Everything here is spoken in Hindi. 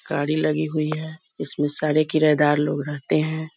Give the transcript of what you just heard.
गाड़ी लगी हुई है इसमें सारे किराएदार लोग रहते हैं।